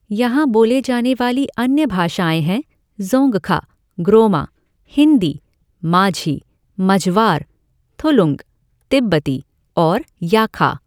यहां बोली जाने वाली अन्य भाषाएं हैं ज़ोंगखा, ग्रोमा, हिंदी, माझी, मझवार, थुलुंग, तिब्बती और याखा।